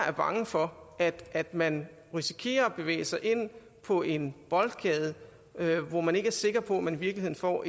er bange for at man risikerer at bevæge sig ind på en boldgade hvor man ikke er sikker på at man i virkeligheden får